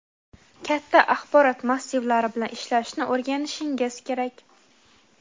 katta axborot massivlari bilan ishlashni o‘rganishingiz kerak.